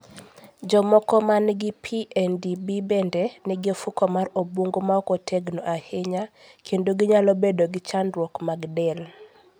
Jomoko ma nigi PNDB bende nigi ofuko mar obwongo ma ok otegno ahinya kendo ginyalo bedo gi chandruok mag del.